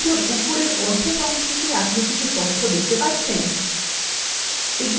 window উপরের অর্ধেক অংশে can আপনি কিছু তথ্য দেখতে পাচ্ছেন